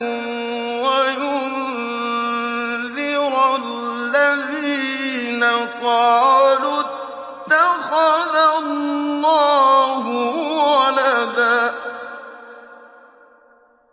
وَيُنذِرَ الَّذِينَ قَالُوا اتَّخَذَ اللَّهُ وَلَدًا